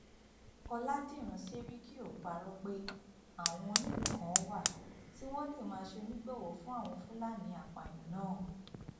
ọlàdíràn sẹríkì ò parọ pé àwọn onílùú kan wà tí wọn lè máa ṣonígbọwọ fún àwọn fúlàní apààyàn náà